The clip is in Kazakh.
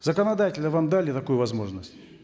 законодательно вам дали такую возможность